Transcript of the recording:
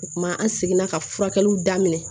O kuma an seginna ka furakɛliw daminɛ